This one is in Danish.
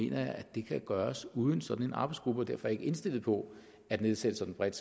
jeg at det kan gøres uden sådan en arbejdsgruppe og derfor ikke indstillet på at nedsætte sådanne bredt